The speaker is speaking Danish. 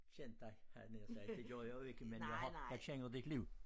Kendt dig havde jeg nær sagt det gør jeg jo ikke men jeg har jeg kender dit liv